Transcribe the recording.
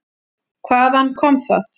Hvaðan kom það?